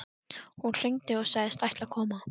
Hún hringdi og sagðist ætla að koma.